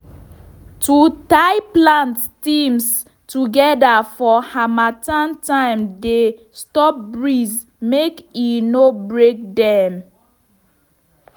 to tie plant stems together for harmattan time dey stop breeze mk e no break them